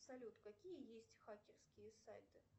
салют какие есть хакерские сайты